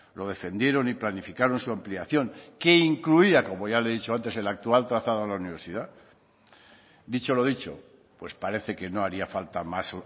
lo defendieron y planificaron su ampliación que incluía como ya le he dicho antes el actual trazado a la universidad dicho lo dicho pues parece que no haría falta más